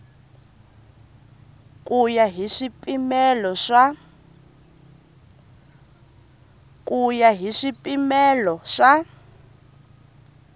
ku ya hi swipimelo swa